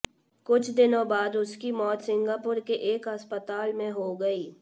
कुछ दिनों बाद उसकी मौत सिंगापुर के एक अस्पताल में हो गई